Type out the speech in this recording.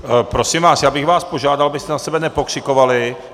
Prosím vás, já bych vás požádal, abyste na sebe nepokřikovali.